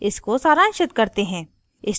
इसको सारांशित करते हैं